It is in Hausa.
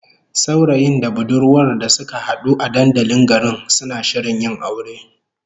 Saurayin da budurwar da suka hadu a dandalin garin, suna shirin yin aure